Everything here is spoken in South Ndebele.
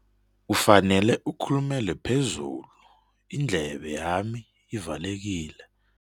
Ufanele ukhulumele phezulu, indlebe yami ivalekile.